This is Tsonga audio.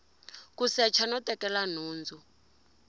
ku secha no tekela nhundzu